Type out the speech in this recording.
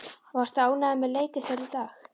Varstu ánægður með leik ykkar í dag?